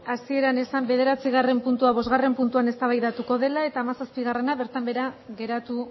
hasieran ezan bederatzigarren puntua bosgarren puntuan eztabaidatuko dela eta hamazazpigarrena bertan behera geratu